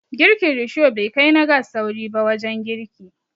Girkin Risho bai kai na gas sauri ba wajen girki